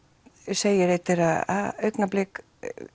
segir einn þeirra augnablik